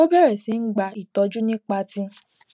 ó bèrè sí í gba ìtójú nípa ti